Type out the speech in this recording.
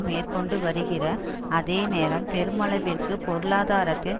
மேற்கொண்டு வருகிற அதேநேரம் பெருமளவிற்கு பொருளாதாரத்தில்